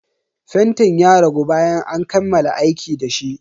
Fentin ya ragu bayan an kammala aiki dashi.